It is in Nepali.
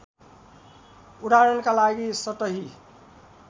उदाहरणका लागि सतही